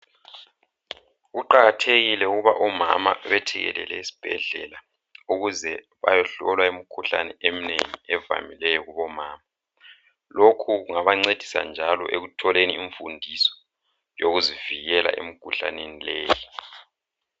Kuqakathekile ukuba omama bethekelele isibhedlela ukuze bayohlolwa imikhuhlane emnengi evamileyo kubomama lokhu kungabancedisa njalo ekutholeni imfundiso yokuzivikela emikhuhlaneni leyi.